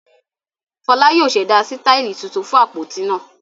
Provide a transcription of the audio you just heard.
Fọlá yóò ṣẹ̀dá sítáálì tuntun fún àpótí náà